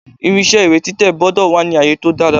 Irinṣé ìwé títẹ̀ gbọ́dọ̀ wà ni àyè tó dára.